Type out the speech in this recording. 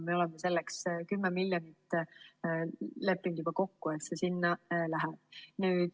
Me oleme leppinud juba kokku, et 10 miljonit sinna läheb.